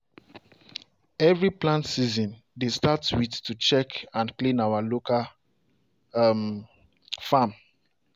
every plant season dey start with to check and clean our local farm.